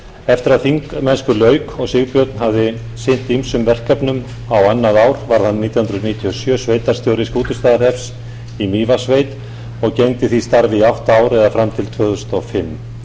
eftir að þingmennsku lauk og sigbjörn hafði sinnt ýmsum verkefnum á annað ár varð hann nítján hundruð níutíu og sjö sveitarstjóri skútustaðahrepps í mývatnssveit og gegndi því starfi í átta ár eða fram til tvö þúsund og fimm